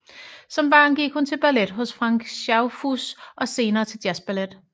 Som barn gik hun til ballet hos Frank Schaufuss og senere til jazzballet